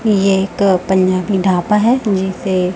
यह एक पंजाबी ढाबा है जिसे--